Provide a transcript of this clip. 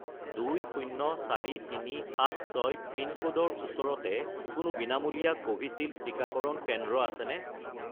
204376 পিনক'ডৰ ওচৰতে কোনো বিনামূলীয়া কোভিচিল্ড টিকাকৰণ কেন্দ্ৰ আছেনে?